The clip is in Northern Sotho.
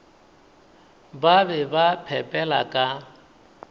ba be ba phepela ka